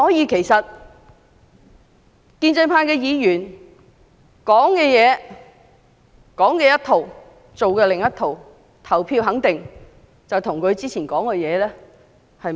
其實建制派議員說一套、做一套，表決時肯定與他們之前所說的不符。